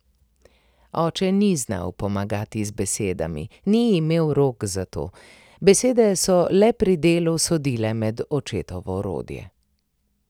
Oče ni znal pomagati z besedami, ni imel rok za to, besede so le pri delu sodile med očetovo orodje.